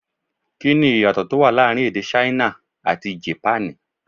Kí ni ìyàtọ̀ tó wà láàrin èdè Ṣáínà àti Jèpánì?